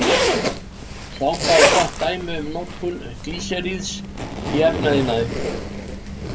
Sápa er gott dæmi um notkun glýseríðs í efnaiðnaði.